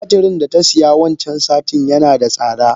Tumaturin data siya wancan satin nada tsada.